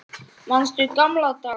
Manstu gamla daga?